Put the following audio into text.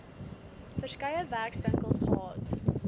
verskeie werkswinkels gehad